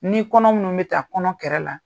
Ni kɔnɔ minnu bɛ taa kɔnɔ kɛrɛ la